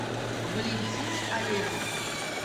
валентины олеговны